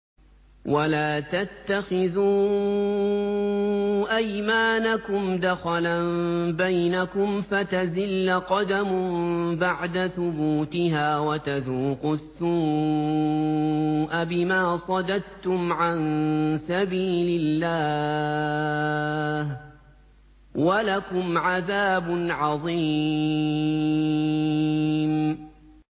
وَلَا تَتَّخِذُوا أَيْمَانَكُمْ دَخَلًا بَيْنَكُمْ فَتَزِلَّ قَدَمٌ بَعْدَ ثُبُوتِهَا وَتَذُوقُوا السُّوءَ بِمَا صَدَدتُّمْ عَن سَبِيلِ اللَّهِ ۖ وَلَكُمْ عَذَابٌ عَظِيمٌ